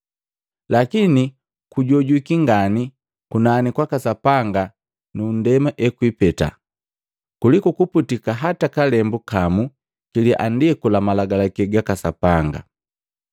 Lakini kujojwiki ngani kunani kwaka Sapanga nu ndema ekwipeta, kuliku kuputika hata kalembu kamu kiliandiku la Malagalaki gaka Sapanga.